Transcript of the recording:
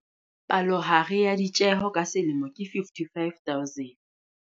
Palohare ya ditjeho ka selemo ke R55 000.